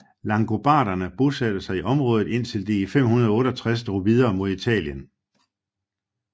Langobarderne bosatte sig i området indtil de i 568 drog videre mod Italien